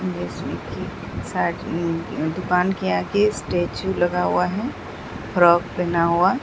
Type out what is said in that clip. जिसमें कि दुकान के आगे स्टैचू लगा हुआ है फ्रॉक पहना हुआ।